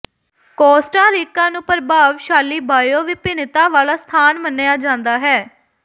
Costa Rica ਨੂੰ ਪ੍ਰਭਾਵਸ਼ਾਲੀ bio ਵਿਭਿੰਨਤਾ ਵਾਲਾ ਸਥਾਨ ਮੰਨਿਆ ਜਾਂਦਾ ਹੈ